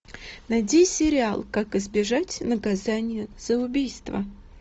найди сериал как избежать наказания за убийство